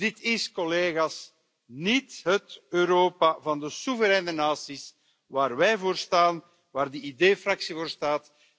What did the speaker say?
Dit is, collega's, niet het Europa van de soevereine naties waar wij voor staan, waar de ID Fractie voor staat.